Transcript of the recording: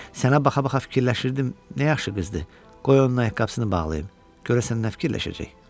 Sənə baxa-baxa fikirləşirdim: "Nə yaxşı qızdı, qoy onun ayaqqabısını bağlayım, görəsən nə fikirləşəcək?"